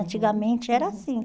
Uhum, uhum. Antigamente era assim.